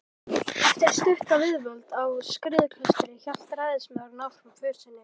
Eftir stutta viðdvöl á Skriðuklaustri hélt ræðismaðurinn áfram för sinni.